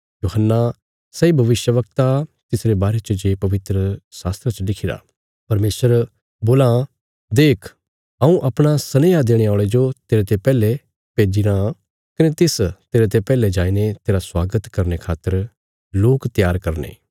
यूहन्ना सैई भविष्यवक्ता आ तिसरे बारे च जे पवित्रशास्त्रा च लिखिरा परमेशर बोलां देख हऊँ अपणे सनेहा देणे औल़े जो तेरते पैहले भेजीरां कने तिस तेरते पैहले जाईने तेरा स्वागत करने खातर लोक त्यार करने